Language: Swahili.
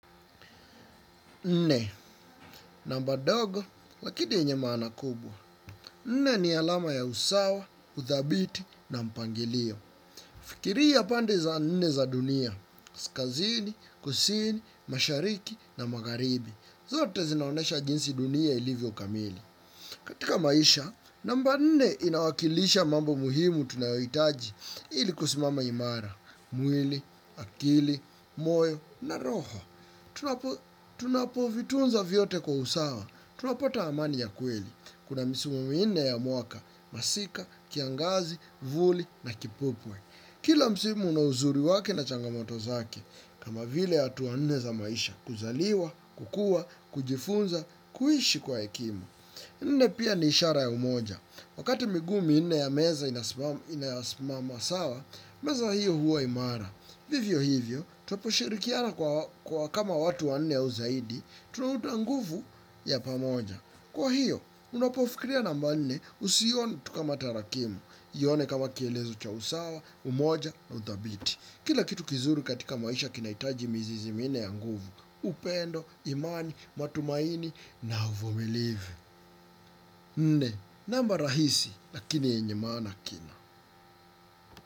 Nne, namba ndogo, lakini yenye maana kubwa. Nne ni alama ya usawa, uthabiti na mpangilio. Fikiria pande za nne za dunia, kaskazini, kusini, mashariki na magharibi. Zote zinaonesha jinsi dunia ilivyo kamili. Katika maisha, namba nne inawakilisha mambo muhimu tunayohitaji ili kusimama imara. Mwili, akili, moyo na roho. Tunapo vitunza vyote kwa usawa tunapata amani ya kweli. Kuna misimu minne ya mwaka. Masika, kiangazi, vuli na kipupwe kila msimu una uzuri wake na changamoto zake. Kama vile hatua nne za maisha kuzaliwa, kukua, kujifunza, kuishi kwa hekima nne pia ni ishara ya umoja. Wakati miguu minne ya meza inasimama sawa meza hiyo huwa imara vivyo hivyo, tunapo shirikiana kama watu wanne au zaidi, tunaunda nguvu ya pamoja. Kwa hiyo, unapofikiria namba nne usiione tu kama tarakimu, ione kama kielelezo cha usawa, umoja na udhabiti. Kila kitu kizuri katika maisha kinahitaji mizizi minne ya nguvu, upendo, imani, matumaini na uvumilivu. Nne, namba rahisi, lakini yenye maana kina.